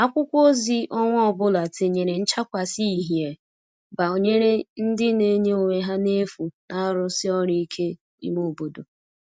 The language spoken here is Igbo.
akwụkwo ozi onwa ọbụla tinyere nchakwasi ihie gbanyere ndi n'enye onwe ha n'efu n'arusi ọru ike ime obodo